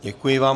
Děkuji vám.